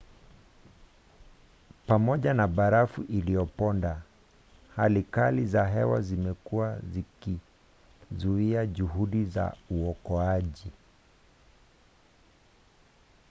pamoja na barafu iliyoponda hali kali za hewa zimekuwa zikizuia juhudi za uokoaji